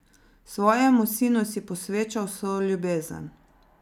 Svojemu sinu si posvečal vso ljubezen.